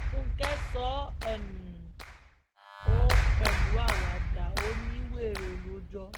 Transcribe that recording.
fúnkẹ́ sọ um ọ́ pẹ̀lú àwàdà ò ní wẹ́rẹ́ ló jọ